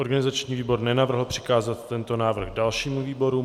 Organizační výbor nenavrhl přikázat tento návrh dalšímu výboru.